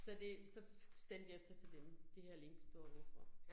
Så det så sendte jeg så til dem, det her link står hvorfor